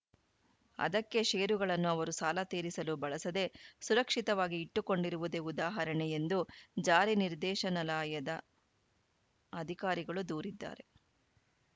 ಅದಕ್ಕೇ ಷೇರುಗಳನ್ನು ಅವರು ಸಾಲ ತೀರಿಸಲು ಬಳಸದೇ ಸುರಕ್ಷಿತವಾಗಿ ಇಟ್ಟುಕೊಂಡಿರುವುದೇ ಉದಾಹರಣೆ ಎಂದು ಜಾರಿ ನಿರ್ದೇಶನಲಾಯದ ಅಧಿಕಾರಿಗಳು ದೂರಿದ್ದಾರೆ